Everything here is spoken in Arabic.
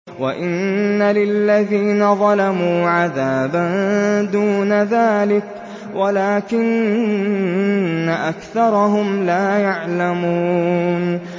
وَإِنَّ لِلَّذِينَ ظَلَمُوا عَذَابًا دُونَ ذَٰلِكَ وَلَٰكِنَّ أَكْثَرَهُمْ لَا يَعْلَمُونَ